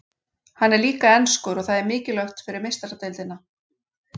Hann er líka enskur og það er mikilvægt fyrir Meistaradeildina.